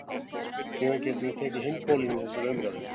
Síðan getum við tekið hinn pólinn í þessa umræðu.